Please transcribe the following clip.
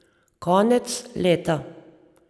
Konec leta.